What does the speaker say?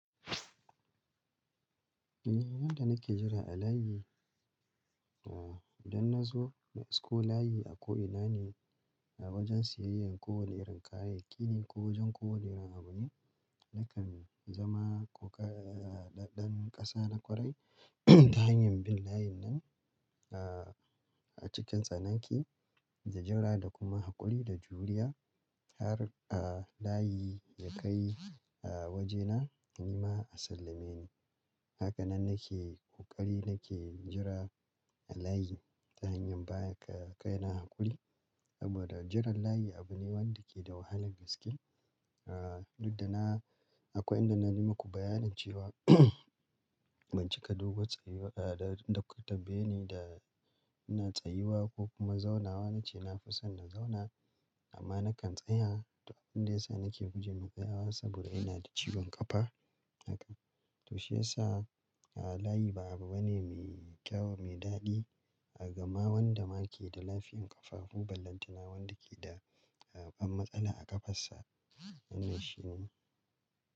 Yadda nake jira a layi, idan na zo na isko layi a ko ina ne a wajen siyayyar kowane irin kayayyaki ne ko wajen kowane irin abu ne, nakan zama ƙoƙa-- ɗan ƙasa na ƙwarai ta hanyar bin layin nan a cikin tsanaki da jira da kuma haƙuri da juriya har a layi yakai a wajena, nima a sallame ni. Hakanan nake ƙoƙari nake jira a layi ta hanyar baga kai na haƙuri saboda jiran layi abu ne wanda ke da wahalan gaske. Duk da na akwai inda na yi muku bayanin cewa ban cika dogo tsayuwa da ku tambayeni da ina tsayuwa ko kuma zaunawa nace na fi son na zauna amma nakan tsaya abunda ya sa nake guje wa tsayawa saboda ina da ciwon ƙafa. Haka. To shiyasa a layi ba abu bane mai kyau mai daɗi daga ma wanda ma ke da lafiyan ƙafafu, ballantana wanda ke da babban matsala a ƙafarsa. Wannan shi ne.